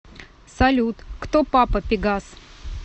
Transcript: салют кто папа пегас